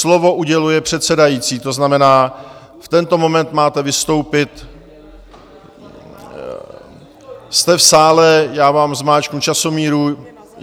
Slovo uděluje předsedající, to znamená, v tento moment máte vystoupit, jste v sále, já vám zmáčknu časomíru.